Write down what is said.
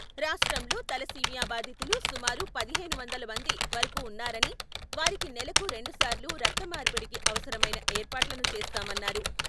రాష్ట్రంలో థలసీమియా బాధితులు సుమారు ఒక పదిహేను వందల మంది వరకు వున్నారని, వారికి నెలకు రెండు సార్లు రక్త మార్పిడికి అవసరమైన ఏర్పాట్లను చేస్తామన్నారు.